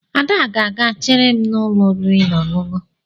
Ada ga-aga chere m n'ụlọ oriri na ọṅụṅụ